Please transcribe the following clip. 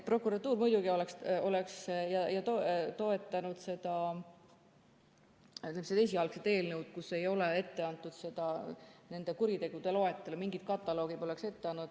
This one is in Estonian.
Prokuratuur muidugi oleks toetanud esialgset eelnõu, kus ei ole ette antud nende kuritegude loetelu või kataloogi.